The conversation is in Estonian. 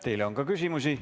Teile on küsimusi.